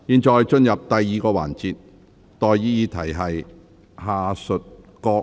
現在進入第二個環節。